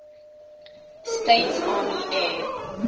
states army air